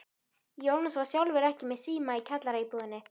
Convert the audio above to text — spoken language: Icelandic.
Jónas var sjálfur ekki með síma í kjallaraíbúðinni.